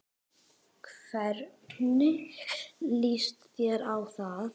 Hvernig lýst þér á það?